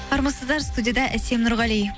армысыздар студияда әсем нұрғали